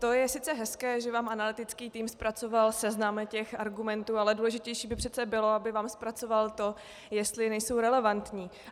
To je sice hezké, že vám analytický tým zpracoval seznam těch argumentů, ale důležitější by přece bylo, aby vám zpracoval to, jestli nejsou relevantní.